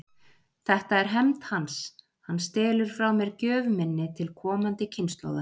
Þetta er hefnd hans: hann stelur frá mér gjöf minni til komandi kynslóða.